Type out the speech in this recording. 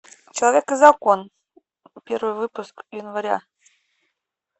человек и закон первый выпуск января